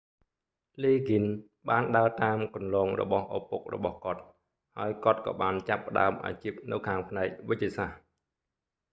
លីហ្គិនស៍ liggins បានដើរតាមគន្លងរបស់ឪពុករបស់គាត់ ហើយគាត់ក៏បានចាប់ផ្តើមអាជីពនៅខាងផ្នែកវេជ្ជសាស្ត្រ